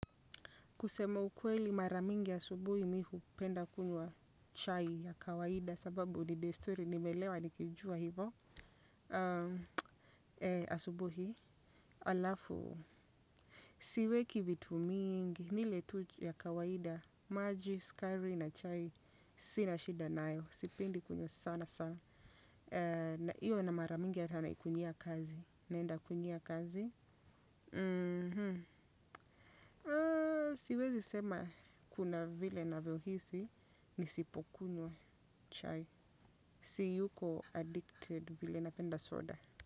Kusema ukweli mara mingi asubuhi mimi hupenda kunywa chai ya kawaida sababu ni "the story" nimelewa nikijua hivo asubuhi alafu. Siweki vitu mingi ni ile tu ya kawaida maji, sukari na chai sina shida nayo. Sipendi kunywa sana sana. Hiyo na mara mingi hata naikunyea kazi. Naenda kunywea kazi. Siwezisema kuna vile navyo hisi. Nisipokunywa chai. Siyuko "addicted" vile napenda soda.